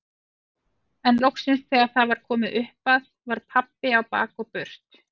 En loksins þegar það var komið upp að var pabbi á bak og burt.